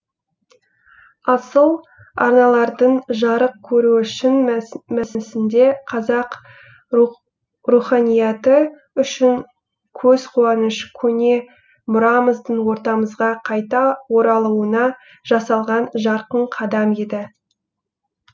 асыл арналардың жарық көруі шын мәсісінде қазақ руханияты үшін көзқуаныш көне мұрамыздың ортамызға қайта оралуына жасалған жарқын қадам еді